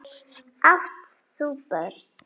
Átt þú börn?